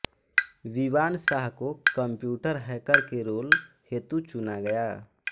विवान शाह को computer hacker के role हेतु चुना गया